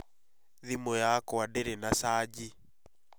Thimũ yakwa ndĩrĩ na caji